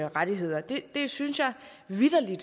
rettigheder det synes jeg vitterlig